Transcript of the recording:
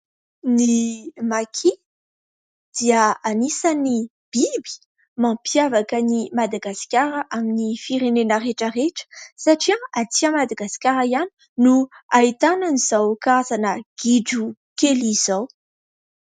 Ny"Maki" dia anisan'ny biby mampiavaka an'i Madagasikara amin'ny firenena rehetra rehetra, satria aty Madagasikara ihany no ahitana an'izao karazana gidro kely izao.